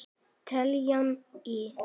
Teljum í!